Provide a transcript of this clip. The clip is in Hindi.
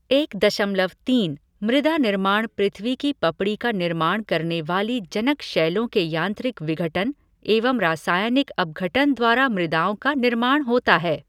एक दशमलव तीन, मृदा निर्माण पृथ्वी की पपड़ी का निर्माण करने वाली जनक शैलों के यांत्रिक विघटन एवं रासायनिक अपघटन द्वारा मृदाओं का निर्माण होता है।